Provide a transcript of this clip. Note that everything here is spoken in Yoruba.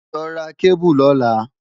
Lọ ra kébù lọ́la!